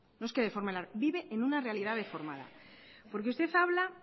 no es que deforme la realidad vive en una realidad deformada porque usted habla